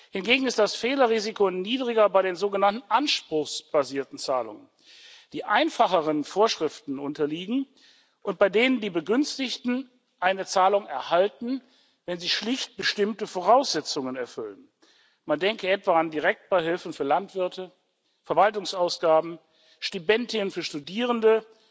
Hingegen ist das Fehlerrisiko niedriger bei den sogenannten anspruchsbasierten Zahlungen, die einfacheren Vorschriften unterliegen und bei denen die Begünstigten eine Zahlung erhalten, wenn sie schlicht bestimmte Voraussetzungen erfüllen man denke etwa an Direktbeihilfen für Landwirte, Verwaltungsausgaben, Stipendien für Studierende